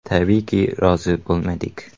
Tabiiyki, rozi bo‘lmadik.